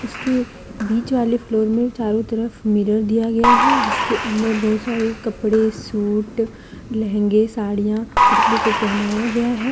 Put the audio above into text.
उसके बीच वाली फ्लोर में चारों तरफ मिरर दिया गया है जिसके अंदर बहुत सारे कपड़े सूट लहंगे साड़ियां पुतले को पहनाया गया है।